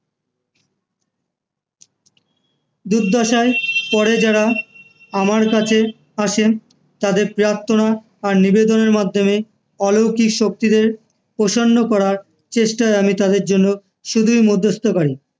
দুর্দশায় পরে যারা আমার কাছে আসে তাদের প্রার্থনা আর নিবেদনের মাধ্যমে অলৌকিক শক্তিদের প্রসন্ন করার চেষ্টায় আমি তাদের জন্য শুধুই মধ্যস্থতাকারী